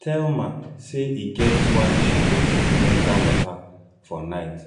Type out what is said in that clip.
thelma say e get why she no fit enter water for night